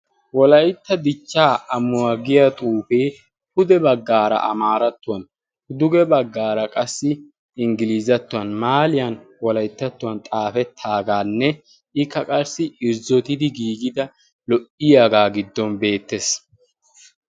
wolaytta dichchaa amuwaa giya xuufee pude baggaara amaarattuwan duge baggaara qassi inggiliizattuwan maaliyan wolayttattuwan xaafettaagaanne ikka qarssi irzzotidi giigida lo"iyaagaa giddon beettees